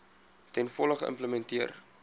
ten volle geïmplementeer